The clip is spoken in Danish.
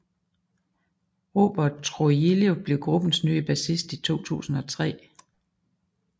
Robert Trujillo blev gruppens nye bassist i 2003